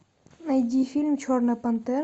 найди фильм черная пантера